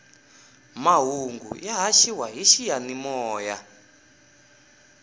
mahungu ya haxiwa hi xiyanimoya